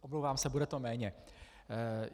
Omlouvám se, bude to méně.